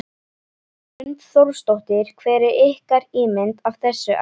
Hrund Þórsdóttir: Hver er ykkar ímynd af þessu efni?